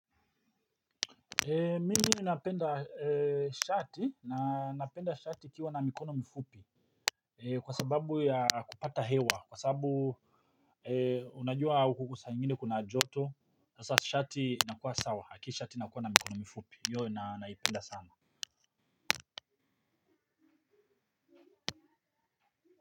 Mimi napenda shati, na napenda shati ikiwa na mikono mfupi. Kwa sababu ya kupata hewa, kwa sababu unajua huku saa ingine kuna joto. Sasa shati nakuwa sawa, haki shati nakuwa na mikono mfupi, hiyo naipenda sana.